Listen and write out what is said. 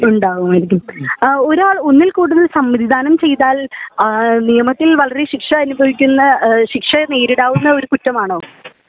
ഉണ്ടാകുമായിരിക്കും ഒരാൾ ഒന്നിൽ കൂടുതൽ സമ്മതിദാനം ചെയ്താൽ ആ നിയമത്തിൽ വളരെ ശിക്ഷ അനുഭവിക്കുന്ന ശിക്ഷ നേരിടാകുന്ന ഒരു കുറ്റമാണോ